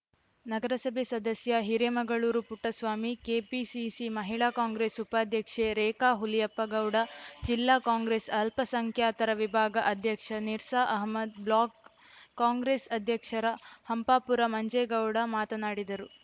ನಗರಸಭೆ ಸದಸ್ಯ ಹಿರೇಮಗಳೂರು ಪುಟ್ಟಸ್ವಾಮಿ ಕೆಪಿಸಿಸಿ ಮಹಿಳಾ ಕಾಂಗ್ರೆಸ್‌ ಉಪಾಧ್ಯಕ್ಷೆ ರೇಖಾ ಹುಲಿಯಪ್ಪಗೌಡ ಜಿಲ್ಲಾ ಕಾಂಗ್ರೆಸ್‌ ಅಲ್ಪಸಂಖ್ಯಾತರ ವಿಭಾಗ ಅಧ್ಯಕ್ಷ ನಿರ್ಸಾ ಅಹಮದ್‌ ಬ್ಲಾಕ್‌ ಕಾಂಗ್ರೆಸ್‌ ಅಧ್ಯಕ್ಷರ ಹಂಪಾಪುರ ಮಂಜೇಗೌಡ ಮಾತನಾಡಿದರು